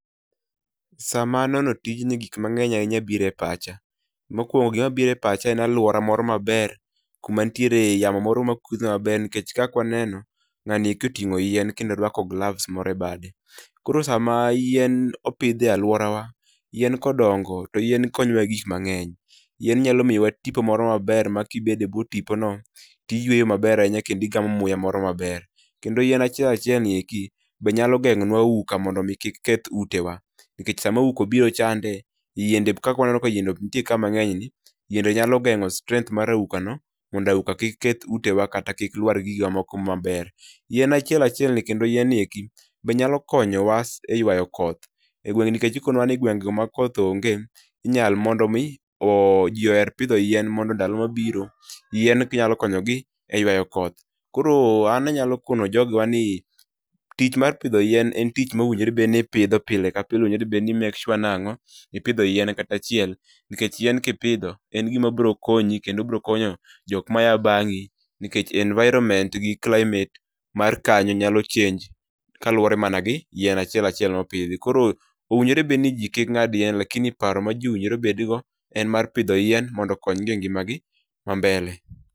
Sama aneno tijni gik mang'eny ahinya biro e pacha. Mokuongo gima biro e pacha en aluora moro maber, yamo moro makudho maber nikech kaka waneno ng'ani koting'o yien kendo oruaako gloves moro e bade. Koro sama yien opidh e aluoraw, yien kodongo to yien konyowa gi gik mang'eny. Yien nyalo miyowa tipo moro maber makibedo ebwo tipono to iyweyo maber ahinya kendo igamo muya maber. Kendo yien achiel achielni bende nyalo geng'o nua auka mondo yamo kik keth utewa nikech sama auka obiro chande yiende kaka waneno ka yiende nitie ka mang'eny ni bende nyalo geng'o strength mar aukano mondo auka kik keth utewa kata kik lwar gigo moko maber. Yien achiel achielni kendo yien ni be nyalo mkonyowa eyuayo mkoth e gweng' nikech ikonua ni gwenge makoth onge inyalo mi mondo ji oher pidho yien mondo ndalo mabiro yin nyalo konyogi e yuayo koth. Koro an anyalo koni jogewagi ni tich mar pidho yien en tich ma owinjore bed ni ipidho pile ka pile noyobed ni i make sure nang'o, ipidho yien kata achiel kata achiel nikech yien kipidho yien biro konyi kendo biro konyo jok maa bang'i nikech environment mat kanyo gi climate mar kanyo nyalo change kaluwore mana gi yien achiel achiel mopidhi koro owinjorebed ni ji kik ng'ad yien lakini paro ma ji owinjore bedgo en mar pidho yien mondo okony gi e ngimagi mambele.